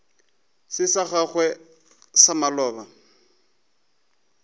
se sa gago sa maloba